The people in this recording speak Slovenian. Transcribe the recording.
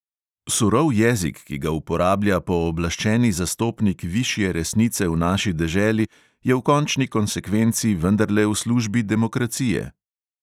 Surov jezik, ki ga uporablja pooblaščeni zastopnik višje resnice v naši deželi, je v končni konsekvenci vendarle v službi demokracije.